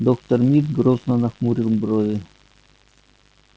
доктор мид грозно нахмурил брови